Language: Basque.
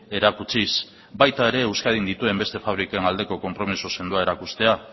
erakutsiz baita ere euskadin dituen beste fabriken aldeko konpromiso sendoa erakustea